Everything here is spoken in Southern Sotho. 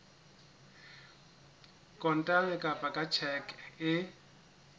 kontane kapa ka tjheke e